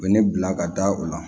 U bɛ ne bila ka da o la